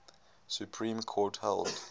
supreme court held